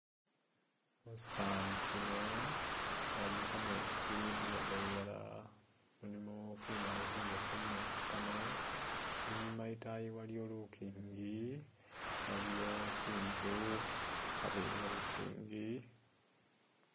Musifani sino waliyo kameetsi khuluwande lulala mulimo kimibaale kimiboofu mumeetsi Kano, i'nyuma e'taayi waliyo lukingi, waliyo tsi'nzu abweni we'lukingi